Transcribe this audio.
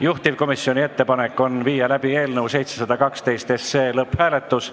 Juhtivkomisjoni ettepanek on viia läbi eelnõu 712 lõpphääletus.